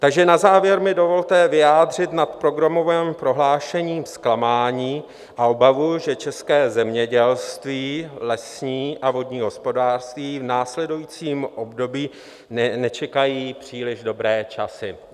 Takže na závěr mi dovolte vyjádřit nad programovým prohlášením zklamání a obavu, že české zemědělství, lesní a vodní hospodářství v následujícím období nečekají příliš dobré časy.